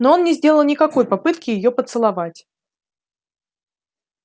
но он не сделал никакой попытки её поцеловать